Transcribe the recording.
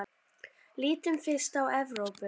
Lítum fyrst á Evrópu.